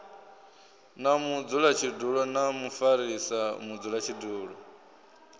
na mudzulatshidulo na mufarisa mudzulatshidulo